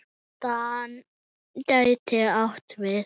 DAN gæti átt við